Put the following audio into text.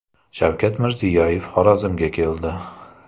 Shavkat Mirziyoyev Xorazmga keldi.